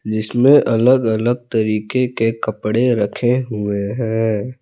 इसमें अलग अलग तरीके के कपड़े रखे हुए हैं।